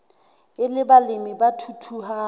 e le balemi ba thuthuhang